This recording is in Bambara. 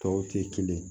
Tɔw tɛ kelen ye